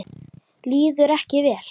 Líður ekki vel.